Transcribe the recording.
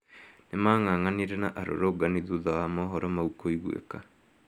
Nĩmang'ang'anĩre na arũrũngani thũtha wa mohoro mau kũiguĩka